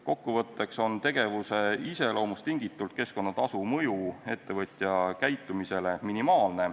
Kokkuvõtteks on tegevuse iseloomust tingitult keskkonnatasu mõju ettevõtja käitumisele minimaalne.